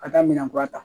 Ka taa minɛn kura ta